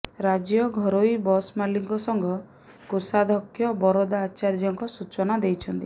ରାଜ୍ୟ ଘରୋଇ ବସ ମାଲିକ ସଂଘ କୋଷାଧ୍ୟକ୍ଷ ବରଦା ଆଚାର୍ଯ୍ୟଙ୍କ ସୂଚନା ଦେଇଛନ୍ତି